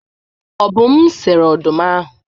Obum sere ọdụm ahụ.